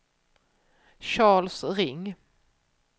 Charles Ring